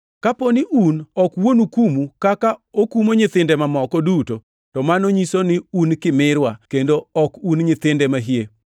Kapo ni un ok wuonu kumu kaka okumo nyithinde mamoko duto, to mano nyiso ni un kimirwa kendo ok un nyithinde mahie.